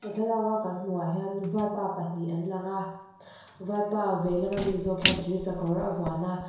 thlalak a kan hmuh ah hian vaipa pahnih an lang a vaipa vei lam ami zawk hian thir sakawr a vuan a.